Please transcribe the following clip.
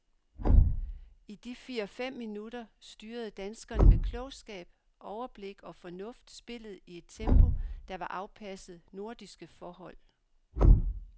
I de fire fem minutter styrede danskerne med klogskab, overblik og fornuft spillet i et tempo, der var afpasset nordiske forhold.